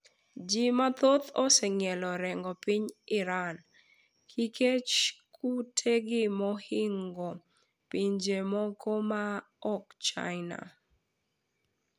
Ji mathoth oseng'ielo orengo piny Iran kikech kutegi mohingo pinje moko ma ok china.